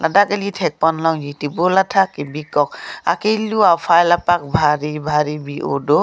dak eli thekpon longji table athak kebi kok akilu afile apak bhari bhari bi o do.